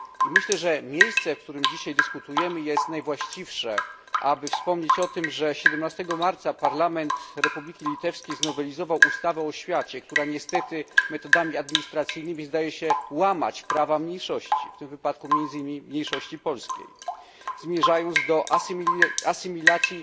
Myślę, że miejsce, w którym dziś dyskutujemy jest najwłaściwsze, aby wspomnieć o tym, że 17 marca parlament Republiki Litewskiej znowelizował ustawę o oświacie, która niestety metodami administracyjnymi zdaje się łamać prawa mniejszości, w tym wypadku między innymi mniejszości polskiej, zmierzając do asymilacji